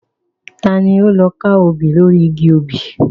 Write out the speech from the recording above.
Ta ni ó lọ ka obì lóri igi obì?